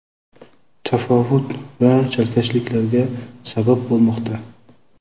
tafovut va chalkashliklarga sabab bo‘lmoqda.